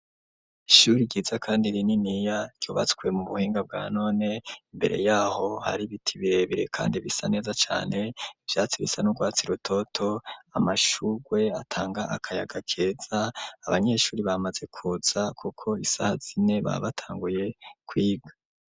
Ishuri ryiza kandi rininiya, ryubatswe mu buhinga bwa none, imbere y'aho hari ibiti birebire kandi bisa neza cane, ivyatsi bisa n'urwatsi rutoto, amashurwe atanga akayaga keza; abanyeshuri bamaze kuza kuko isaha zine baba batanguye kwiga.